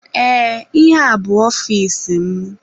Ee, ihe a bu ọfịs mụ.